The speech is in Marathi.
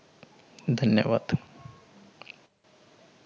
धन्यवाद.